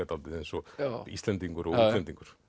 dálítið eins og Íslendingur og útlendingur